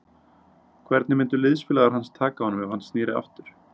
Hvernig myndu liðsfélagar hans taka honum ef hann sneri aftur?